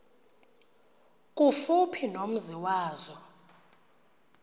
kufuphi nomzi wazo